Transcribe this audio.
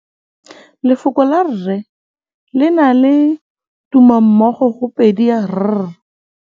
Lefoko la rre le na le tumammogôpedi ya, r.